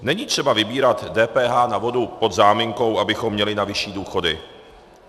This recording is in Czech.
Není třeba vybírat DPH na vodu pod záminkou, abychom měli na vyšší důchody.